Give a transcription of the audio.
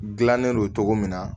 Gilannen don cogo min na